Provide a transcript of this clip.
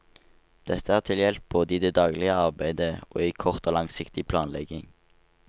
Dette er til hjelp både i det daglige arbeidet og i kort og langsiktig planlegging.